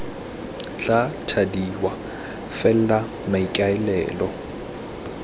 tla thadiwa f fela maikaelelo